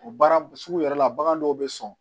O baara sugu yɛrɛ la bagan dɔw bɛ sɔn